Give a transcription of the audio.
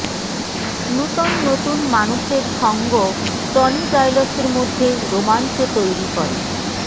নুতন নতুন মানুষের সঙ্গ টনি জাইলসের মধ্যে রোমাঞ্চ তৈরি করে